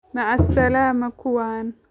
Macasalaama kuwan